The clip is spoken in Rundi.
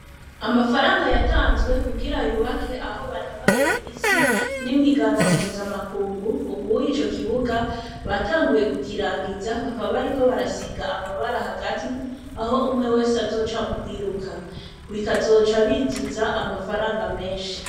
Amafaranga yatanzwe kugira yubake aho banonorera imitsi, n'ihiganwa mpuzamakungu, ubuye ico kibuga batanguye kukirangiza bakaba bariko barasiga amabara hagati, aho umwe wese azoca mu kwiruka. Bikazoca binjiza amafaranga menshi. .